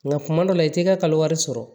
Nka kuma dɔ la i t'i ka kalo wari sɔrɔ